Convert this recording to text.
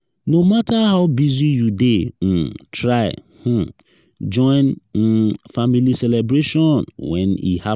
no matter how busy you dey um try um join um family celebration when e happen.